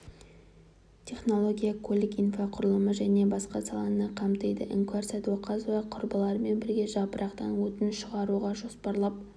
технология көлік инфрақұрылымы және басқа саланы қамтиды іңкәр сәдуақасова құрбыларымен бірге жапырақтан отын шығаруды жоспарлап